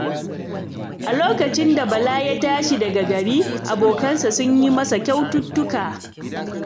A lokacin da Bala ya tashi daga gari, abokansa sun yi masa kyaututtuka.